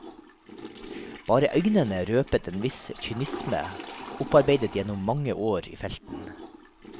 Bare øynene røpet en viss kynisme, opparbeidet gjennom mange år i felten.